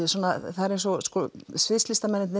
það er eins og